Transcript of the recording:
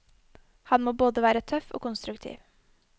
Han må både være tøff og konstruktiv.